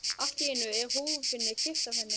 Allt í einu er húfunni kippt af henni!